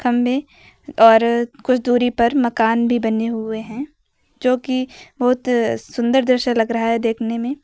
सामने और कुछ दूरी पर मकान भी बने हुए हैं जो की बहुत सुंदर दृश्य लग रहा है देखने में।